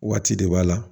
Waati de b'a la